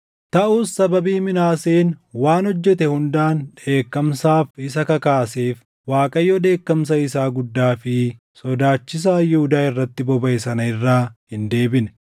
Taʼus sababii Minaaseen waan hojjete hundaan dheekkamsaaf isa kakaaseef Waaqayyo dheekkamsa isaa guddaa fi sodaachisaa Yihuudaa irratti bobaʼe sana irraa hin deebine.